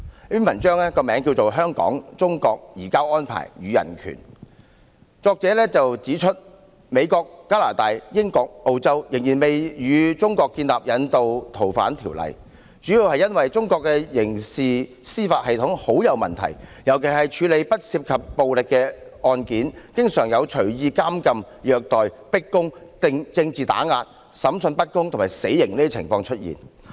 在這篇題為"香港、中國、'移交安排'與人權"的文章中，作者指美國、加拿大、英國、澳洲仍未與中國簽訂引渡逃犯協議，主要的原因是中國的刑事司法系統存在很大問題，尤其是處理不涉及暴力的案件，經常出現任意監禁、虐待、迫供、政治打壓、審訊不公和死刑等情況。